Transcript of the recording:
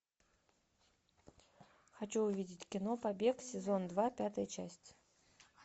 хочу увидеть кино побег сезон два пятая часть